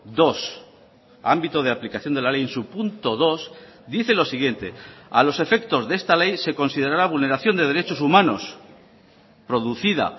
dos ámbito de aplicación de la ley en su punto dos dice lo siguiente a los efectos de esta ley se considerará vulneración de derechos humanos producida